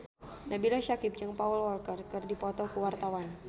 Nabila Syakieb jeung Paul Walker keur dipoto ku wartawan